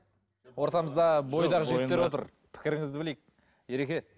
ортамызда бойдақ жігіттер отыр пікіріңізді білейік ереке